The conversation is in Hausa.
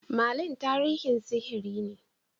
Merlin tarihin sihiri ne.